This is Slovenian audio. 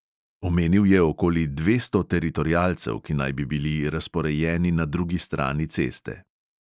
Omenil je okoli dvesto teritorialcev, ki naj bi bili razporejeni na drugi strani ceste.